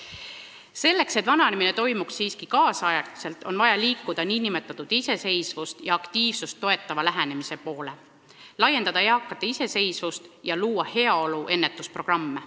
Selleks, et vananemine toimuks kaasaegselt, on vaja liikuda nn iseseisvust ja aktiivsust toetava lähenemise poole, toetada eakate iseseisvust ja luua heaolu säilitamiseks ennetusprogramme.